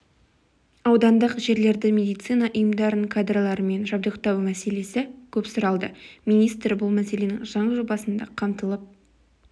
аудандық жерлердегі медицина ұйымдарын кадрлармен жабдықтау мәселесі көп сұралды министр бұл мәселенің заң жобасында қамтылып